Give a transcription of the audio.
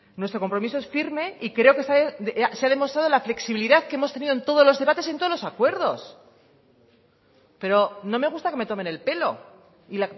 nuestro compromiso es firme y creo que esta vez se ha demostrado la flexibilidad que hemos tenido en todos los debates en todos los acuerdos pero no me gusta que me tomen el pelo y